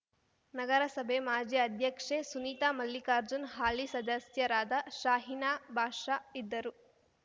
ನಗರಸಭೆ ಮಾಜಿ ಅಧ್ಯಕ್ಷೆ ಸುನೀತಾ ಮಲ್ಲಿಕಾರ್ಜುನ್‌ ಹಾಲಿ ಸದಸ್ಯರಾದ ಷಾಹಿನಾ ಬಾಷ ಇದ್ದರು